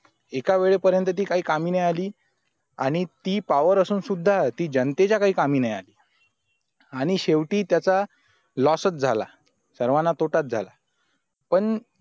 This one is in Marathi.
एकावेळी पर्यंत ती काही कामी नाही आली आणि ती पावर असून सुद्धा ती जनतेच्या काही कामी नाही आली आणि शेवटी त्याचा loss च झाला सर्वांना तोटाच झाला पण